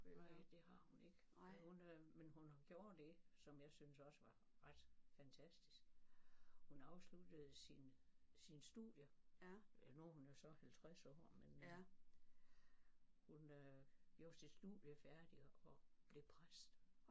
Nej det har hun ikke men hun øh men hun gjorde det som jeg synes også var ret fantastisk hun afsluttede sin sine studier. Nu er hun jo så 50 år men hun øh gjorde sit studie færdigt og blev præst